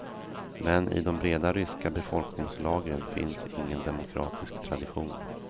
Men i de breda ryska befolkningslagren finns ingen demokratisk tradition.